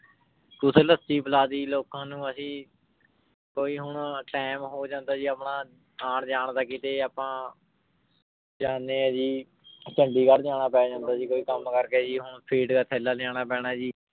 ਕਦੇ ਲੱਸੀ ਪਿਲਾ ਦਿੱਤੀ ਜੀ ਲੋਕਾਂ ਨੂੰ ਅਸੀਂ ਕੋਈ ਹੁਣ time ਹੋ ਜਾਂਦਾ ਜੀ ਆਪਣਾ ਆਉਣ ਜਾਣ ਦਾ ਕਿਤੇ ਆਪਾਂ ਜਾਂਦੇ ਹਾਂ ਜੀ ਚੰਡੀਗੜ੍ਹ ਜਾਣਾ ਪੈ ਜਾਂਦਾ ਜੀ ਕੋਈ ਕੰਮ ਕਰਕੇ ਜੀ ਹੁਣ ਫੀਡ ਕਾ ਥੈਲਾ ਲਿਆਉਣਾ ਪੈਣਾ ਜੀ।